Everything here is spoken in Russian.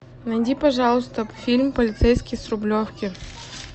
найди пожалуйста фильм полицейский с рублевки